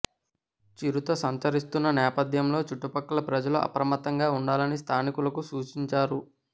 చిరుత సంచరిస్తున్న నేపథ్యంలో చుట్టుపక్కల ప్రజలు అప్రమత్తంగా ఉండాలని స్థానికులకు సూచించారు